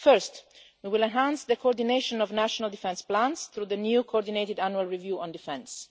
First, we will enhance the coordination of national defence plans through the new coordinated annual review on defence.